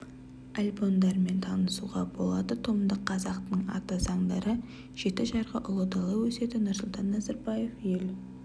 альбомдармен танысуға болады томдық қазақтың ата заңдары жеті жарғы ұлы дала өсиеті нұрсұлтан назарбаев ел